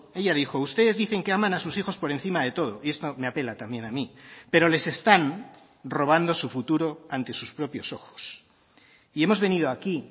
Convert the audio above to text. ella dijo ustedes dicen que aman a sus hijos por encima de todo y esto me apela también a mí pero les están robando su futuro ante sus propios ojos y hemos venido aquí